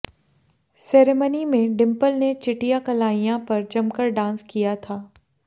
ceremony में डिंपल ने चिटिया कलाइयां पर जमकर डांस किया था